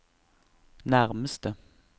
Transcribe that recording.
nærmeste